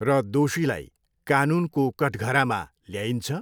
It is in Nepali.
र दोषीलाई कानुनको कठघरामा ल्याइन्छ?